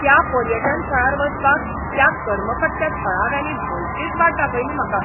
त्या पर्यटन थळार वचपाक त्या कर्मकट्ट्या थळाव्यांनी भलतीच वाट दाखयली म्हाका.